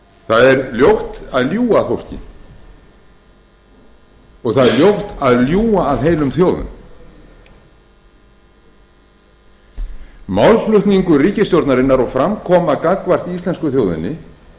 það er ljótt að ljúga að fólki og það er ljótt að ljúga að heilum þjóðum málflutningur ríkisstjórnarinnar og framkoma gagnvart íslensku þjóðinni